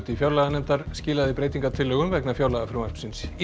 fjárlaganefndar skilaði breytingartillögum vegna fjárlagafrumvarpsins í